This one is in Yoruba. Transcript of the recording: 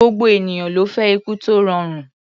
Gbogbo ènìyàn ló fẹ́ ikú tó rọrùn.